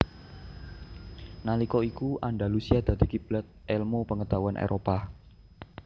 Nalika iku Andalusia dadi kiblat elmu pengetahuan Éropah